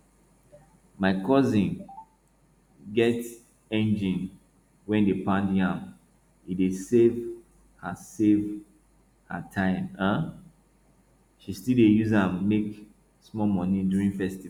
my cousin get engine wey dey pound yam e dey save her save her time um she still dey use am make small money during festival